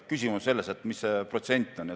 Küsimus on selles, kui suur on maksumäär.